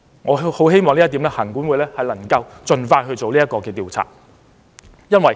我很希望行管會能夠盡快進行相關調查。